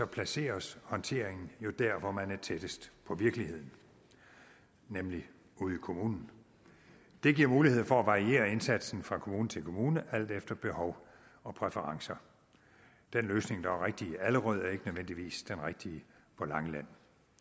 placeres håndteringen jo der hvor man er tættest på virkeligheden nemlig ude i kommunen det giver mulighed for at variere indsatsen fra kommune til kommune alt efter behov og præferencer den løsning der er rigtig i allerød er ikke nødvendigvis den rigtige på langeland